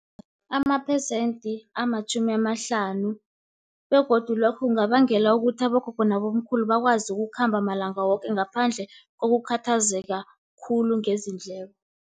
Amaphesenti amatjhumi amahlanu, begodu lokho kungabangela ukuthi abogogo, nabomkhulu bakwazi ukukhamba malanga woke, ngaphandle kokukhathazeka khulu ngezindleko.